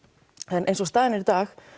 en eins og staðan er í dag